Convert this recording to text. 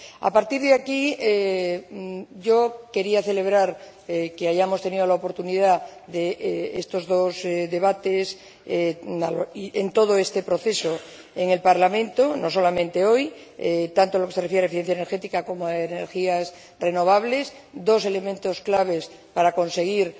A partir de aquí, yo quería celebrar que hayamos tenido la oportunidad de estos dos debates y de todo este proceso en el Parlamento —no solamente hoy—, tanto en lo que se refiere a eficiencia energética como a energías renovables, dos elementos clave para conseguir